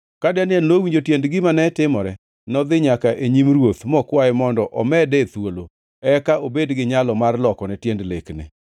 Ka Daniel nowinjo tiend gima ne timore, nodhi nyaka e nyim ruoth mokwaye mondo omede thuolo, eka obed gi nyalo mar lokone tiend lekne.